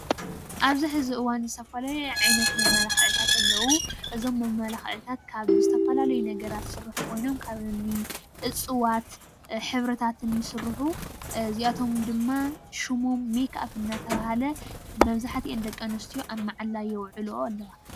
ኣብዚ ሕዚ እዋን ዝተፈላለየ ዓይነት መመላክዒታት ኣለዉ፡፡ እዞም መመላክዕታት ካብ ዝተፈላለዩ ነገራት ዝስርሑ ኮይኖም ካብ እኒ እፅዋት ሕብርታትን ይስርሑ፡፡ እዚኣቶም ድማ ሽሞም ሜክ-ኣፕ እናተባህለ መብዛሕትእን ደቂ ኣንስትዮ ኣብ መዓላ የውዕልኦ ኣለዋ፡፡